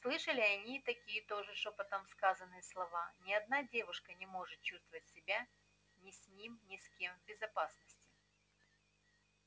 слышали они и такие тоже шёпотом сказанные слова ни одна девушка не может чувствовать себя с ним ни с кем в безопасности